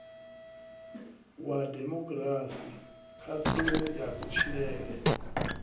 wa demokirasi khaṱhulo ya kutshilele